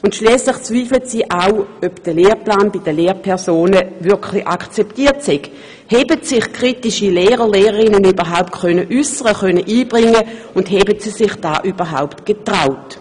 Und schliesslich bezweifeln sie auch, ob der Lehrplan bei den Lehrpersonen wirklich akzeptiert sei, ob sich kritische Lehrerinnen und Lehrer überhaupt dazu äussern und sich einbringen konnten, und ob sie sich dies denn auch getraut hätten.